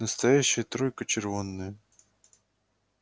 настоящая тройка червонная